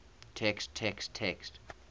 text text text